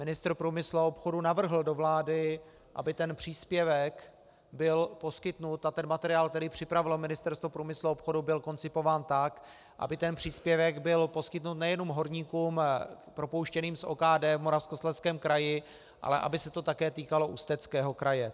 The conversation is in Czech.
Ministr průmyslu a obchodu navrhl do vlády, aby ten příspěvek byl poskytnut, a ten materiál, který připravilo Ministerstvo průmyslu a obchodu, byl koncipován tak, aby ten příspěvek byl poskytnut nejenom horníkům propouštěným z OKD v Moravskoslezském kraji, ale aby se to také týkalo Ústeckého kraje.